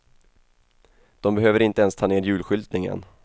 De behöver inte ens ta ner julskyltningen.